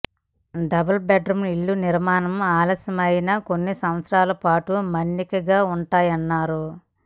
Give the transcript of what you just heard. double bedroom ఇళ్ల నిర్మాణం ఆలస్యమయినా కొన్ని సంవత్సరాల పాటు మన్నికగా ఉంటాయన్నారు